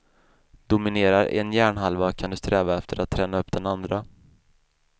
Dominerar en hjärnhalva kan du sträva efter att träna upp den andra.